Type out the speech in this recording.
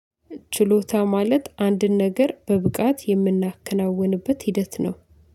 ችሎታ ማለት አንድን ነገር በብቃት የምናከናውንበት ሂደት ነው።